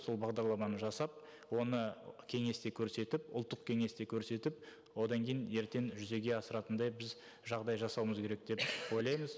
сол бағдарламаны жасап оны кеңесте көрсетіп ұлттық кеңесте көрсетіп одан кейін ертең жүзеге асыратындай біз жағдай жасауымыз керек деп ойлаймыз